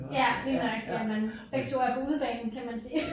Ja lige nøjagtig at man begge 2 er på udebane kan man sige